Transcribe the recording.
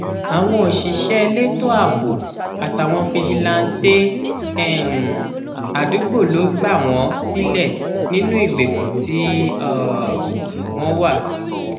àwọn òṣìṣẹ elétò ààbò àtàwọn fíjìláńtẹ um àdúgbò ló gbà wọn sílẹ nínú ìgbèkùn tí um wọn wà